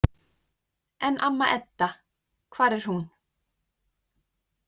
En amma Edda, hvar er hún?